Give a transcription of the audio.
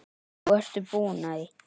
Og ertu búin að því?